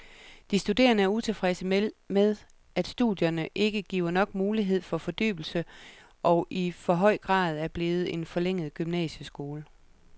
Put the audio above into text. De studerende er utilfredse med, at studierne ikke giver nok mulighed for fordybelse og i for høj grad er blevet en forlænget gymnasieskole.